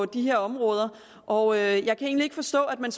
de her områder og jeg kan egentlig ikke forstå at man